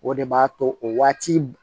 O de b'a to o waati